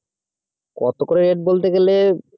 কত করে rate বলতে গেলে